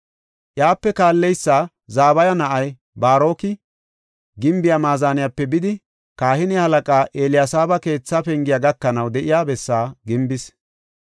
Iyape kaalleysa Zabaya na7ay Baaroki, gimbiya maazaniyape bidi, kahine halaqaa Eliyaseeba keethaa pengiya gakanaw de7iya bessaa gimbis.